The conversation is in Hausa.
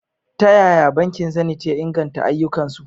Ta yaya bankin Zenith ya inganta ayyukansu?